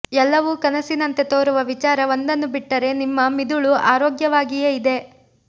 ಎಲ್ಲವೂ ಕನಸಿನಂತೆ ತೋರುವ ವಿಚಾರ ಒಂದನ್ನು ಬಿಟ್ಟರೆ ನಿಮ್ಮ ಮಿದುಳು ಆರೋಗ್ಯವಾಗಿಯೇ ಇದೆ